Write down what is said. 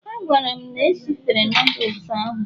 A gwara m na esifere noodles ahụ